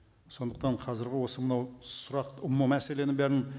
сондықтан қазіргі осы мынау сұрақ мәселені бәрін